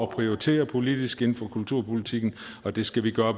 prioritere politisk inden for kulturpolitikken og det skal vi